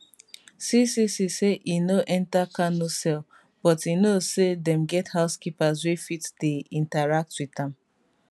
ccc say e no enta kanu cell but e know say dem get housekeepers wey fit dey interact wit am